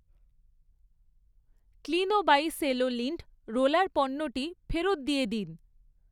ক্লিনো by Cello lint roller পণ্যটি ফেরত দিয়ে দিন।